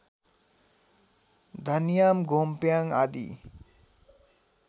धन्याम् घोम्प्याङ आदि